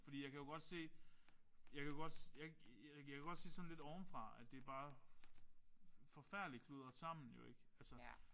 Fordi jeg kan jo godt se jeg kan jo godt jeg jeg kan jo godt se sådan lidt ovenfra at det bare forfærdeligt kludret sammen jo ikk